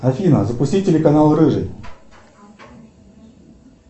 афина запусти телеканал рыжий